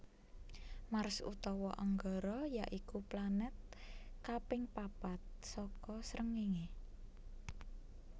Mars utawa Anggara ya iku planèt kaping papat saka srengéngé